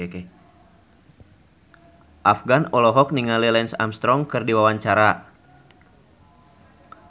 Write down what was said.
Afgan olohok ningali Lance Armstrong keur diwawancara